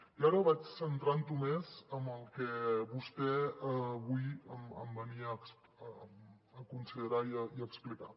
i ara vaig centrant ho més en el que vostè avui em venia a considerar i a explicar